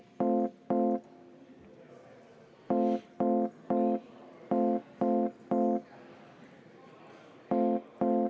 V a h e a e g